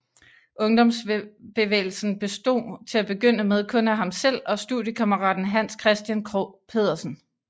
Ungdomsbevægelsen bestod til begynde med kun af ham selv og studiekammeraten Hans Christian Krog Pedersen